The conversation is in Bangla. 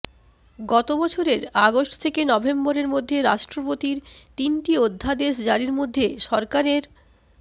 গত বছরের আগস্ট থেকে নভেম্বরের মধ্যে রাষ্ট্রপতির তিনটি অধ্যাদেশ জারির মধ্যে সরকারের